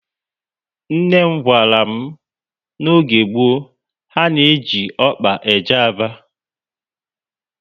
Nne m gwara m na n'oge gboo, ha na eji ọkpa eje Aba